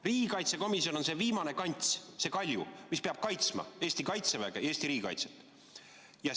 Riigikaitsekomisjon on veel viimane kants, see kalju, mis peab kaitsma Kaitseväge ja Eesti riigikaitset.